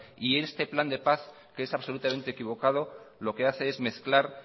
y este plan de paz que es absolutamente equivocado lo que hace es mezclar